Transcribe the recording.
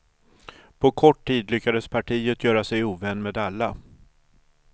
På kort tid lyckades partiet göra sig ovän med alla.